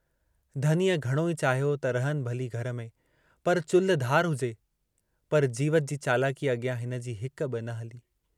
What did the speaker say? धनीअ घणो ई चाहियो त रहनि भली घर में पर चुल्हि धार हुजे, पर जीवत जी चालाकीअ अॻियां हिनजी हिक बि न हली।